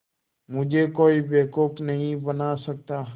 मुझे कोई बेवकूफ़ नहीं बना सकता